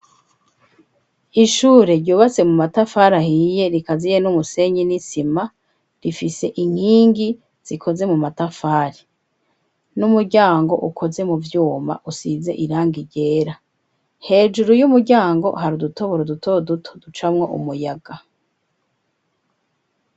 Ishure ryubatse mu matafari ahiye rikaziye n'umusenyi n'isima. Rifise inkingi zikoze mu matafari, n'umuryango ukoze mu vyuma usize iranga ryera. Hejuru y'umuryango, hari udutoboro dutoduto ducamwo umuyaga.